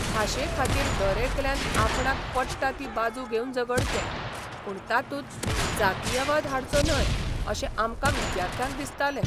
भाशेखातीर दरेकल्यान आपणाक पट्टा ती बाजू घेवन झगडचें, पूण तातूंत जातीयवाद हाडचो न्हय अशें आमकां विद्यार्थ्यांक दिसतालें.